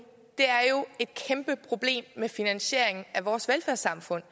er jo et kæmpeproblem med finansieringen af vores velfærdssamfund